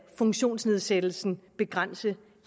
funktionsnedsættelsen begrænse